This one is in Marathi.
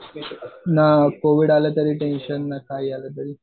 ना कोविड आलं तरी टेन्शन ना काही आलं तरी.